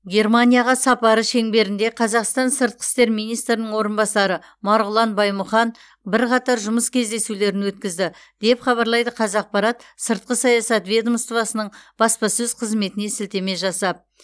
германияға сапары шеңберінде қазақстан сыртқы істер министрінің орынбасары марғұлан баймұхан бірқатар жұмыс кездесулерін өткізді деп хабарлайды қазақпарат сыртқы саясат ведомоствосының баспасөз қызметіне сілтеме жасап